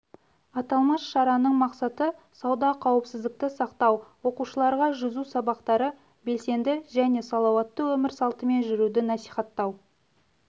аталмыш шараның мақсаты суда қауіпсіздікті сақтау оқушыларға жүзу сабақтары белсенді және салауатты өмір салтымен жүруді насихаттау